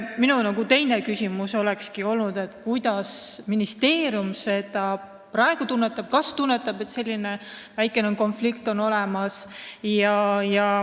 Minu teine küsimus olekski olnud, kas ministeerium tunnetab, et siin on praegu väikene konflikt olemas.